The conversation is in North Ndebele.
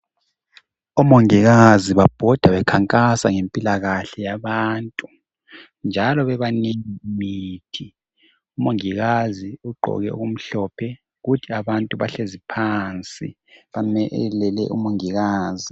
Omongikazi babhoda bekhankasa ngempilakahle yabantu njalo bebanengi umongikazi ugqoke okumhlophe kuthi abantu bahlezi phansi bamelele umongikazi.